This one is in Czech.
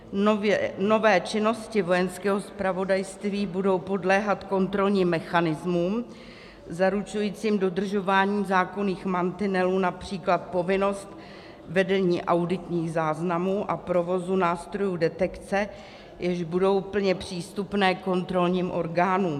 Nové činnosti Vojenského zpravodajství budou podléhat kontrolním mechanismům zaručujícím dodržování zákonných mantinelů, například povinnost vedení auditních záznamů a provozu nástrojů detekce, jež budou plně přístupné kontrolním orgánům.